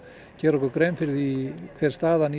gera okkur grein fyrir því hver staðan